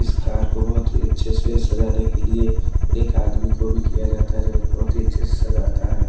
इस कार को बहोत ही अच्छे से सजाने के लिए एक आदमी को भी किया जाता है जो की बहोत ही अच्छे से सजाता है।